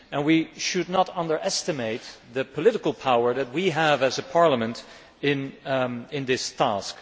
We should not underestimate the political power that we have as a parliament in this task.